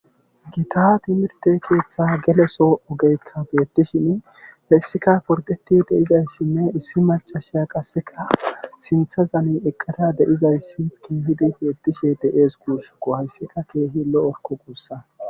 Gita timirrtte soo gelo ogeykka beettishini hessika gordetti de7isheni issi maccashiya qasseka sinthazan eqqada de7izayssi keehi beetees guussuko hayssika keehi lo7okko guussa.